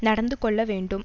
நடந்து கொள்ள வேண்டும்